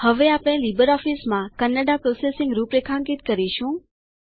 હવે આપણે લીબર ઓફીસમાં કન્નડા પ્રોસેસિંગ રૂપરેખાંકિત કરીશું